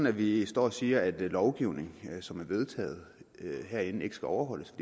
at vi står og siger at lovgivning som er vedtaget herinde ikke skal overholdes